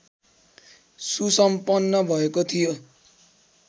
सुसम्पन्न भएको थियो